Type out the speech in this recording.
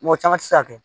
Mɔgɔ caman tɛ se ka kɛ